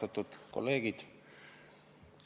Austatud kolleegid!